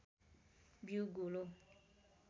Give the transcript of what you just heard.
बीउ गोलो